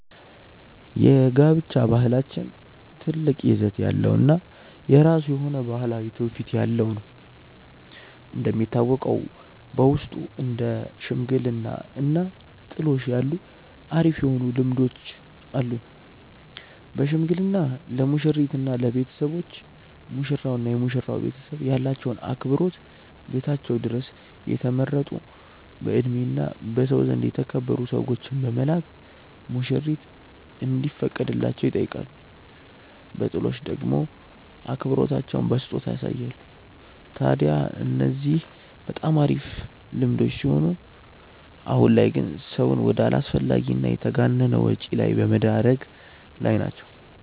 የጋብቻ ባህላችን ትልቅ ይዘት ያለው እና የራሱ የሆነ ባህላዊ ትውፊት ያለው ነው። እንደሚታወቀው በውስጡ እንደ ሽምግልና እና ጥሎሽ ያሉ አሪፍ የሆኑ ልምዶች አሉን። በሽምግልና ለሙሽሪት እና ለቤተሰቦች፤ ሙሽራው እና የመሽራው ቤተሰብ ያላቸውን አክብሮት ቤታቸው ድረስ የተመረጡ በእድሜ እና በሰው ዘንድ የተከበሩ ሰዎችን በመላክ ሙሽሪት እንዲፈቀድላቸው ይጠይቃሉ። በጥሎሽ ደሞ አክብሮታቸውን በስጦታ ያሳያሉ። ታድያ እነዚህ በጣም አሪፍ ልምዶች ሲሆኑ አሁን ላይ ግን ሰውን ወደ አላስፈላጊ እና የተጋነነ ወጪ ላይ በመደረግ ላይ ናቸው።